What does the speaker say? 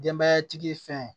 Denbayatigi fɛn